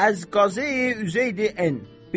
Əz Qazeyi Üzeydi Ən.